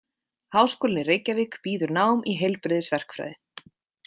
Háskólinn í Reykjavík býður nám í heilbrigðisverkfræði.